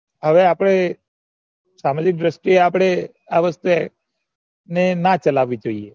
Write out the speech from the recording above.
હવે આપણે દ્રષ્ટી એ આપણે અ વસ્તુ ને ના ચલાવી જોઈએ